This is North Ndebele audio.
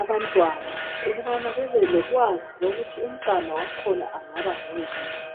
abantwana ukubana babelolwazi ukuthi umntwana wakhona angaba ngoyini.